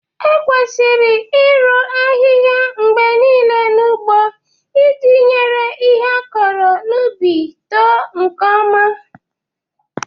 Ekwesịrị iru ahihia mgbe niile n'ugbo iji nyere ihe akọrọ n'ubi too nke ọma